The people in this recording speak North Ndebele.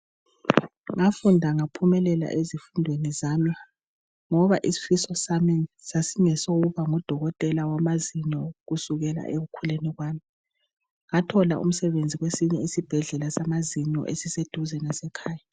Ngafunda ngaphumelela ezifundweni zami ngoba isifiso sami sasingesokuba ngudokotela wamazinyo kusukela ekukhuleni kwami ngathola umsebenzi kwesinye isibhedlela samazinyo esiseduze lasekhaya.